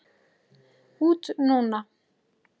Út núna?